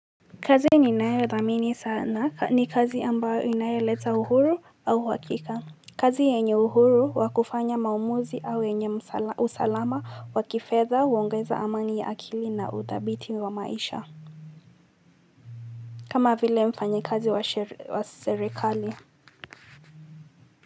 Kazi niinayo dhamini sana ni kazi ambayo inayoleta uhuru au uhakika kazi yenye uhuru wa kufanya maamuzi au yenye usalama wa kifedha huongeza amani ya akili na udhabiti wa maisha kama vile mfanyikazi wa serikali.